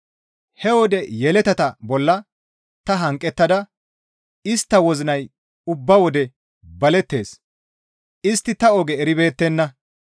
He wode yeletata bolla ta hanqettin istta wozinay ubba wode balettees; istti ta oge eribeettenna.